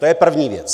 To je první věc.